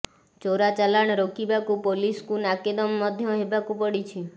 ଚୋରା ଚାଲାଣ ରୋକିବାକୁ ପୋଲିସକୁ ନାକେଦମ ମଧ୍ୟ ହେବାକୁ ପଡ଼ିଛି